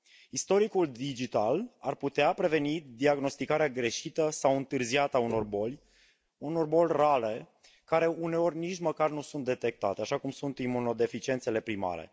Istoricul digital ar putea preveni diagnosticarea greșită sau întârziată a unor boli, a unor boli reale care uneori nici măcar nu sunt detectate, așa cum sunt imunodeficiențele primare.